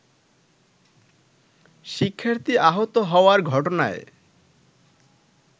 শিক্ষার্থী আহত হওয়ার ঘটনায়